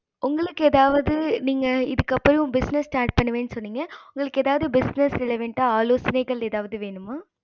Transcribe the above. உங்களுக்கு எதாவது நீங்க இதுக்கு அப்பறம் business start பண்ணுவேன் சொன்னிங்க உங்களுக்கு business relavent ஆலோசைனை எதாவது வேணுமா